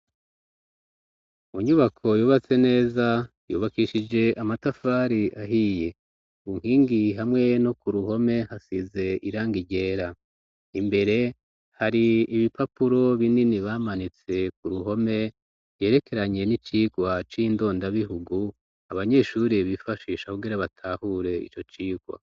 Mu nyubako yubatse neza, yubakishije amatafari ahiye ,ku nkingi hamwe no ku ruhome hasize irangi ryera, imbere hari ibipapuro binini bamanitse ku ruhome, yerekeranye n'icikwa c'indondabihugu abanyeshure bifashisha kugira batahure ico cikwa.